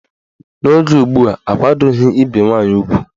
N'oge ugbua, akwadoghi ibe nwaanyị ugwu.